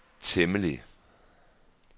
temmelig